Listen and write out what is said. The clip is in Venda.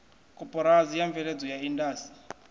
koporasi ya mveledzo ya indasi